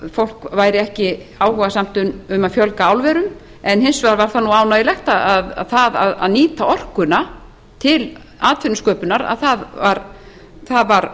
fólk væri ekki áhugasamt um að fjölga álverum en hins vegar var það ánægjulegt að það að nýta orkuna til atvinnusköpunar þar var